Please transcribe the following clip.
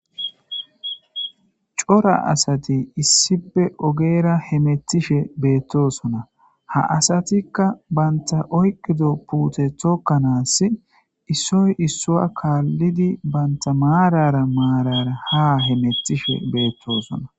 Cora asati issippe ogera hemetishe betosona,ha asatika banta oyikdo puute tokanasi issoy issuwa kaalidi banta maarara maarara ha hemetishe betosona.